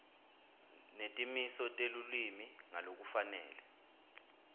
netimiso telulwimi ngalokufanele